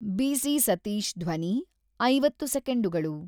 ಬಿ.ಸಿ.ಸತೀಶ್ ಧ್ವನಿ ಐವತ್ತು ಸೆಕೆಂಡುಗಳು